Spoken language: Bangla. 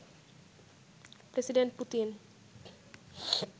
president Putin